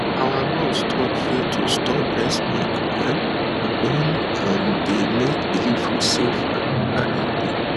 our nurse talk say to store breast milk um na em um dey make delivery safe and ah healthy